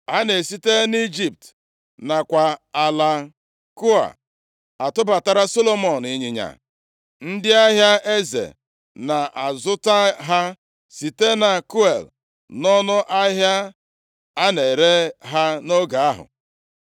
A na-esite nʼIjipt nakwa ala Kue atụbatara Solomọn ịnyịnya. Ndị ahịa eze na-azụta ha site na Kue nʼọnụ ahịa a na-ere ha nʼoge ahụ.